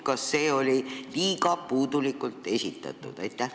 Kas see eelnõu oli liiga puudulikul kujul esitatud?